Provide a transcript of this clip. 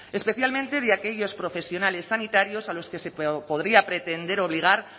especialmente de aquellos profesionales sanitarios a los que se podría pretender obligar